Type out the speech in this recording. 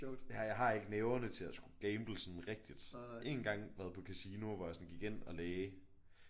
Ja jeg har ikke nerverne til at skulle gamble sådan rigtigt. Én gang været på casino hvor jeg sådan gik ind og lagde